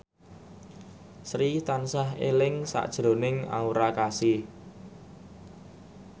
Sri tansah eling sakjroning Aura Kasih